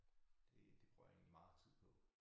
Det det bruger jeg egentlig meget tid på